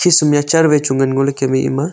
a chair wai chu ngan ngoley kem e ema.